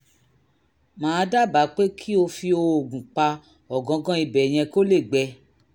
màá dábàá pé kó o fi oògùn pa ọ̀gángán ibẹ̀ yẹn kó lè gbẹ